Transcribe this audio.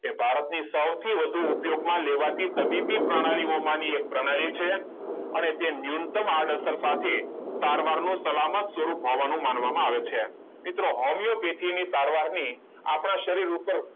એ ભારતને સૌથી વધુ ઉપયોગમાં લેવાતી તબીબી પ્રણાલીઓ માની એક પ્રણાલી છે અને તે નિયતમ આડઅસર સાથે સારવારનો સલામત સ્વરૂપ હોવાનો માનવામાં આવે છે મિત્રો હોમિયોપેથીક એની સારવારની આપણા શરીર ઉપર